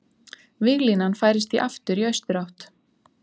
Víglínan færist því aftur í austurátt